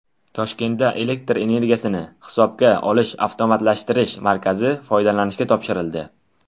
Toshkentda elektr energiyasini hisobga olishni avtomatlashtirish markazi foydalanishga topshirildi.